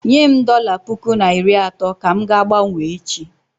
Nyem dọla puku na iri atọ ka m ga-gbanwee echi.